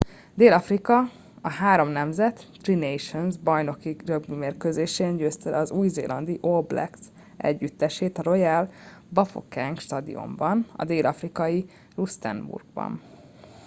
dél-afrika a három nemzet tri nations bajnoki rögbimérkőzésen győzte le az új-zélandi all blacks együttesét a royal bafokeng stadionban a dél-afrikai rustenburgban